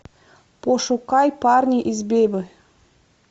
пошукай парни из бебы